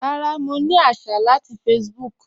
Rárá, mọ̀ ní àṣà láti Facebook.